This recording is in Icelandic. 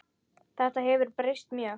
Þetta hefur breyst mjög.